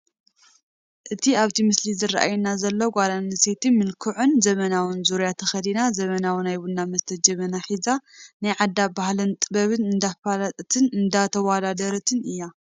እቲ ኣብቲ ምስሊ ዝራኣየና ዘሎ እታ ጓልኣነስተይቲ ምልኩዕን ዘበናውን ዙርያ ተኸዲና ዘበናዊ ናይ ቡና መስተይ ጀበና ሒዛ ናይ ዓዳ ባህልን ጥበብን እንዳፍለጠትን እንዳተወዳደረትን እያ፡፡